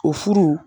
O furu